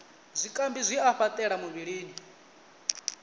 zwikambi zwi a fhaṱela muvhilini